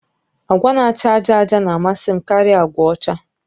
Agwa na-acha àjà àjà na-amasị m karịa agwa ọcha